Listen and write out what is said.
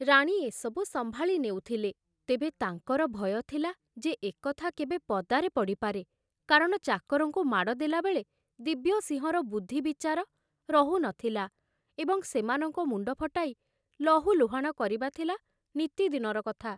ରାଣୀ ଏସବୁ ସମ୍ଭାଳି ନେଉଥିଲେ, ତେବେ ତାଙ୍କର ଭୟ ଥିଲା ଯେ ଏ କଥା କେବେ ପଦାରେ ପଡ଼ିପାରେ କାରଣ ଚାକରଙ୍କୁ ମାଡ଼ ଦେଲାବେଳେ ଦିବ୍ୟସିଂହର ବୁଦ୍ଧି ବିଚାର ରହୁ ନ ଥିଲା ଏବଂ ସେମାନଙ୍କ ମୁଣ୍ଡ ଫଟାଇ ଲହୁଲୁହାଣ କରିବା ଥିଲା ନିତିଦିନର କଥା।